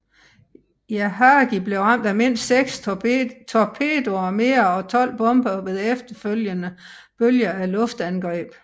Yahagi blev ramt af mindst seks torpedoer mere og 12 bomber ved efterfølgende bølger af luftangreb